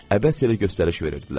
Əbəs yerə göstəriş verirdilər.